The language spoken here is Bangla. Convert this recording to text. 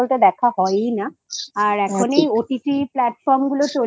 দেখা হয়ই না আর এখন OTT Platform গুলো চলে